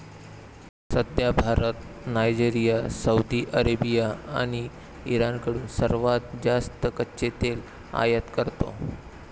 सध्या Bharat Nigeria, Saudi Arabia आणि इराणकडून सर्वात जास्त कच्चे तेल आयात करतो.